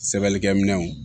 Sɛbɛlikɛminɛnw